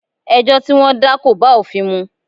Ẹjọ́ tí wọ́n dá kò bá òfin mu.